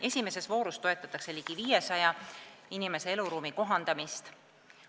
Esimeses voorus toetatakse ligi 500 inimese eluruumi kohandamist.